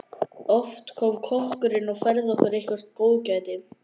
Oft kom kokkurinn og færði okkur eitthvert góðgæti.